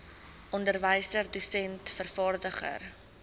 onderwyser dosent vervaardiger